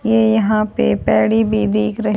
ये यहां पे पैडी भी दिख र--